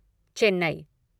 Chennai